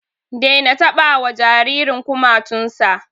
Daina taɓa wa jaririn kumatun sa!